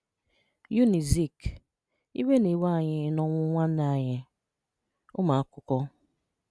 Unizik: Ìwè na-ewè ànyì n’ọnwụ̀ nwànnè ànyì - Ụmụ̀àkụ́kọ́